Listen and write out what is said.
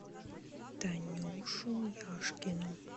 танюшу яшкину